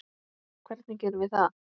En hvernig gerum við það?